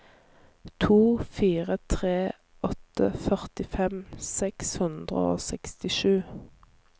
to fire tre åtte førtifem seks hundre og sekstisju